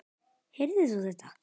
Heyrðir þú þetta?